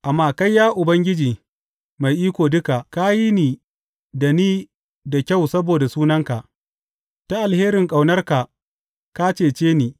Amma kai, ya Ubangiji Mai Iko Duka, ka yi da ni da kyau saboda sunanka; ta alherin ƙaunarka, ka cece ni.